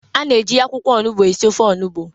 A na-eji akwụkwọ onugbu esi ofe onugbu.